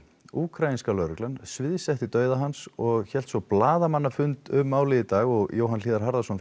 úkraínska lögreglan sviðsetti dauða hans og hélt svo blaðamannafund um málið í dag Jóhann hlíðar Harðarson